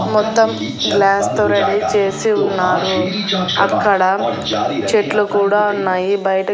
మొత్తం గ్లాస్ తో రెడీ చేసి ఉన్నారు అక్కడ చెట్లు కూడా ఉన్నాయి బయట.